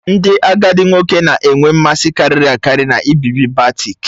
Ndị agadi nwoke na-enwe mmasị karịri akari n'ibibi batik